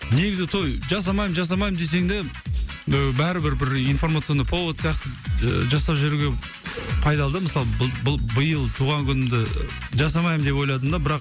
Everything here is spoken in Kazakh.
негізі той жасамаймын жасамаймын десең де і бәрі бір бір информационный повод сияқты ж жасап жіберуге пайдалы да мысалы биыл туған күнімді жасамаймын деп ойладым да бірақ